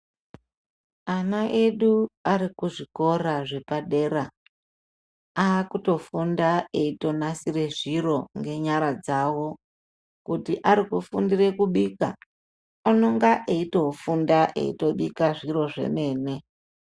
Ana edu ari kuzvikora zvepadera, aakutofunda eitonasire zviro ngenyara dzavo. Kuti ari kufundire kubika, anonga eitofunda eitobika zviro zvemene.